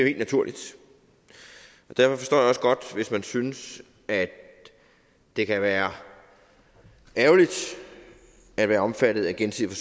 helt naturligt og derfor forstår jeg også godt hvis man synes at det kan være ærgerligt at være omfattet af gensidig